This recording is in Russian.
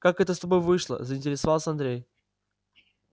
как это с тобой вышло заинтересовался андрей